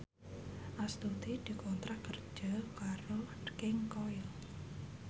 Astuti dikontrak kerja karo King Koil